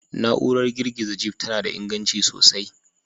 Na'urar girgiza Jeep tana da inganci sosai